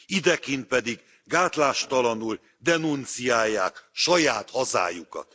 idekint pedig gátlástalanul denunciálják saját hazájukat.